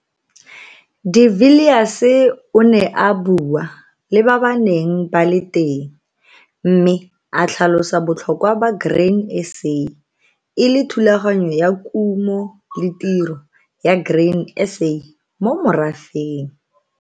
De Villiers o ne a bua le ba ba neng ba le teng mme a tlhalosa botlhokwa ba Grain SA e le thulaganyo ya kumo le tiro ya Grain SA mo morafeng.